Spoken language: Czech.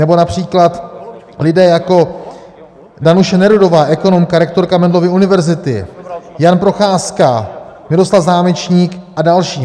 Nebo například lidé jako Danuše Nerudová, ekonomka, rektorka Mendelovy univerzity, Jan Procházka, Miroslav Zámečník a další.